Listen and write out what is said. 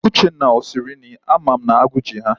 Uchenna o siri nri? Ama m na aguu ji ha.